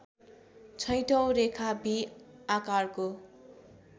छैठौँ रेखा भि आकारको